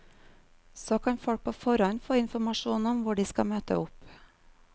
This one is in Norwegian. Så kan folk på forhånd få informasjon om hvor de skal møte opp.